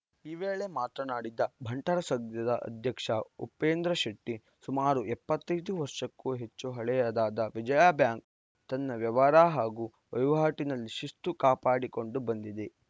ಈ ವೇಳೆ ಮಾತನಾಡಿದ ಬಂಟರ ಸಂಘದ ಅಧ್ಯಕ್ಷ ಉಪೇಂದ್ರ ಶೆಟ್ಟಿ ಸುಮಾರು ಎಪ್ಪತ್ತ್ ಐದು ವರ್ಷಕ್ಕೂ ಹೆಚ್ಚು ಹಳೆಯದಾದ ವಿಜಯಾ ಬ್ಯಾಂಕ್‌ ತನ್ನ ವ್ಯವಹಾರ ಹಾಗೂ ವಹಿವಾಟಿನಲ್ಲಿ ಶಿಸ್ತು ಕಾಪಾಡಿಕೊಂಡು ಬಂದಿದೆ